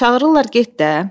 Çağırırlar get də!